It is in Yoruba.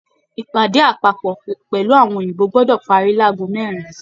Ìpàdé apapọ pẹlú àwọn òyìnbó gbọdọ parí láàgò mẹrin!